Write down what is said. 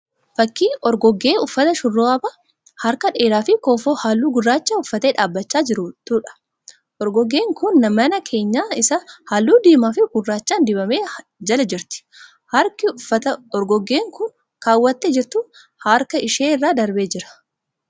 Fakkii orgoggee uffata shurraaba harka dheeraa fi kofoo halluu gurraachaa uffattee dhaabbachaa jirtuudha. Orgoggeen kun mana keenyan isaa halluu diimaa fi gurraachaan dibame jala jirti. Harki uffata orgoggeen kun kaawwattee jirtuu harka ishee irra darbee jira.